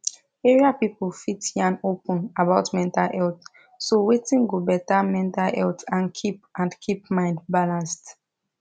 area people fit yan open about mental health so wetin go better mental health and keep and keep mind balanced